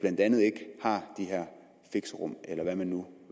her fixerum eller hvad man nu